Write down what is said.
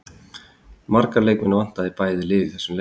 Marga leikmenn vantaði í bæði lið í þessum lek.